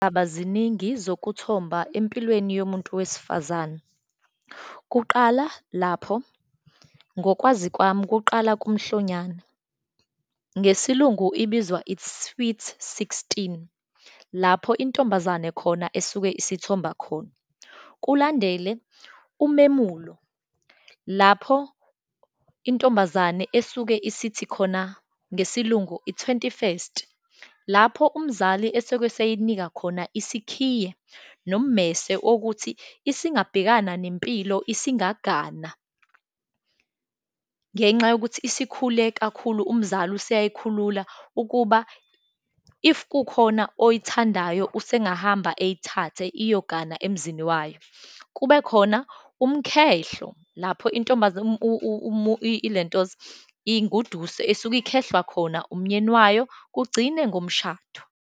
ziningi zokuthomba empilweni yomuntu wesifazane. Kuqala lapho, ngokwazi kwami, kuqala kumhlonyana, ngesiLungu ibizwa, i-sweet sixteen, lapho intombazane khona esuke isithomba khona. Kulandele umemulo, lapho intombazane esuke, isithi khona ngesiLungu, i-twenty first, lapho umzali eseku eseyinika khona isikhiye, nommese okuthi isingabhekana nempilo, isingagana, ngenxa yokuthi esikhule kakhulu, umzali useyayikhulula, ukuba if kukhona oyithandayo usengahamba eyithathe, iyogana emzini wayo. Kube khona umkhehlo, lapho ile ntoza inguduso, esuke ikhehlwa khona umnyeni wayo, kugcine ngomshado.